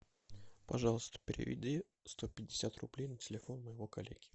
пожалуйста переведи сто пятьдесят рублей на телефон моего коллеги